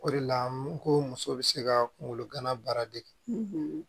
O de la n ko muso bɛ se ka kungolo gana baara dege